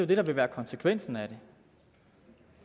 det der vil være konsekvensen af det